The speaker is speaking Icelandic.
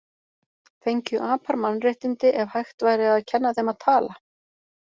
Fengju apar mannréttindi ef hægt væri að kenna þeim að tala?